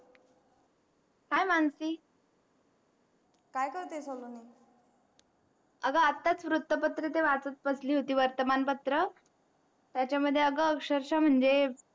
hii Mansi काय करतेस अगं अगं आतास वुत्तपत्र ते वाचत बसली होती वर्तमान पत्र त्याच्यामध्ये अगं अक्षरशः म्हणजे